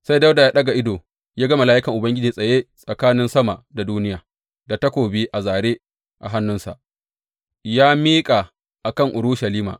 Sai Dawuda ya ɗaga ido ya ga mala’ikan Ubangiji tsaye tsakanin sama da duniya, da takobi a zāre a hannunsa ya miƙa a kan Urushalima.